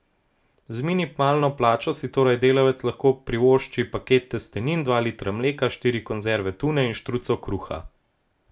Z minimalno plačo si torej delavec lahko privošči paket testenin, dva litra mleka, štiri konzerve tune in štruco kruha.